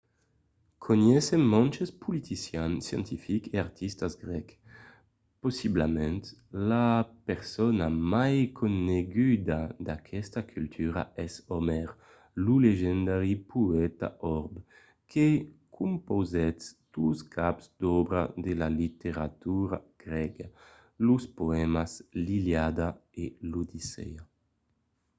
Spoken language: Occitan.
coneissèm mantes politicians scientifics e artistas grècs. possiblament la persona mai coneguda d’aquesta cultura es omèr lo legendari poèta òrb que compausèt dos caps d’òbra de la literatura grèga: los poèmas l’iliada e l’odissèa